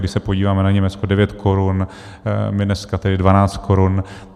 Když se podíváme na Německo, 9 korun, my dneska tedy 12 korun.